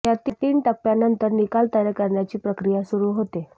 या तीन टप्प्यांनंतर निकाल तयार करण्याची प्रक्रिया सुरू होते